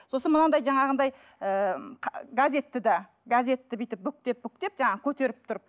сосын мынандай жаңағындай ыыы газетті де газетті бүйтіп бүктеп бүктеп жаңа көтеріп тұрып